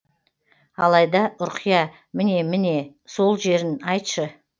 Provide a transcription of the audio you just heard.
алайда ұрқия міне міне сол жерін айтшы